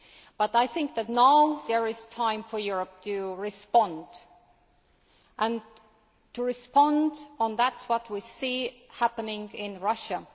But I think that now it is time for Europe to respond, and to respond to what we see happening Russia.